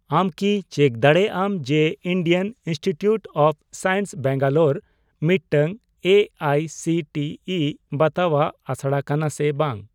ᱟᱢ ᱠᱤ ᱪᱮᱠ ᱫᱟᱲᱮᱭᱟᱜᱼᱟᱢ ᱡᱮ Indian institute of science Bangalore ᱢᱤᱫᱴᱟᱝ A I C T E ᱵᱟᱛᱟᱣᱟᱜ ᱟᱥᱲᱟ ᱠᱟᱱᱟ ᱥᱮ ᱵᱟᱝ ?